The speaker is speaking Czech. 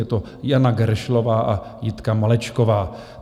Je to Jana Geršlová a Jitka Malečková.